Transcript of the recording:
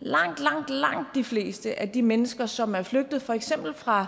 langt langt langt de fleste af de mennesker som er flygtet for eksempel fra